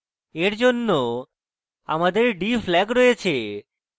for জন্য আমাদের d flag রয়েছে